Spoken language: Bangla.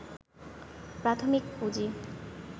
প্রাথমিক পুঁজি